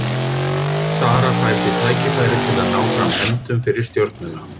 Sara fær því tækifæri til að ná fram hefndum fyrir Stjörnuna.